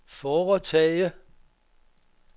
foretage